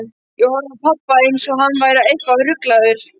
Ég horfði á pabba, einsog hann væri eitthvað ruglaður.